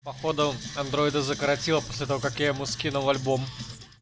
походу андройда закоротило после того как я бы скинул альбом